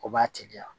O b'a teliya